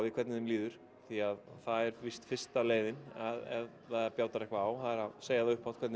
hvernig þeim líður því það er fyrsta leiðin ef það bjátar eitthvað á það er að segja upphátt hvernig